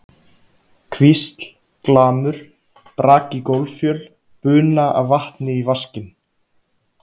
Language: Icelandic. hvísl, glamur, brak í gólffjöl, buna af vatni í vaskinn.